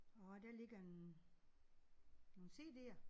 Og der ligger en nogle cd'er